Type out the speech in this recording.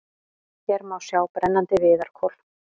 Hér má sjá brennandi viðarkol.